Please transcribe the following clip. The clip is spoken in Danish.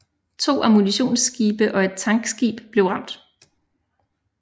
To ammunitionsskibe og et tankskib blev ramt